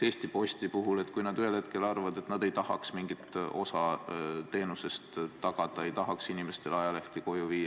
Näiteks, Eesti Postile, kui nad ühel hetkel arvavad, et nad ei tahaks mingit osa teenusest tagada, ei tahaks inimestele ajalehti koju viia ...